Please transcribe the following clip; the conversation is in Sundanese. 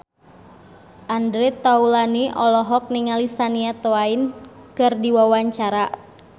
Andre Taulany olohok ningali Shania Twain keur diwawancara